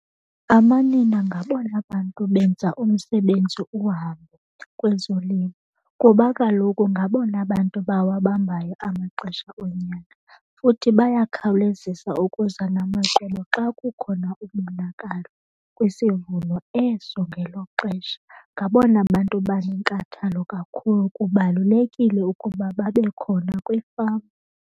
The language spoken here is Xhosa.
Amanina ngabona bantu benza umsebenzi uhambe kwezolimo kuba kaloku ngabona bantu bawabambayo amaxesha onyaka. Futhi bayakhawulezisa ukuza namacebo xa kukhona umonakalo kwisivuno eso ngelo xesha. Ngabona bantu banenkathalo kakhulu. Kubalulekile ukuba babe khona kwifama.